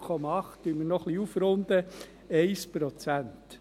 Dann runden wir noch etwas auf, also 1 Prozent.